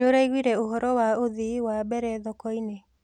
Nĩũraiguire ũhoro wa ũthii wa mbere thokoinĩ.